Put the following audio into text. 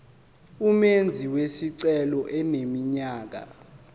umenzi wesicelo eneminyaka